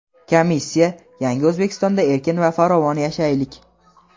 Komissiya "Yangi O‘zbekistonda erkin va farovon yashaylik!"